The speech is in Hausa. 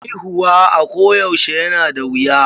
Haihuwa a ko yaushe yana da wuya.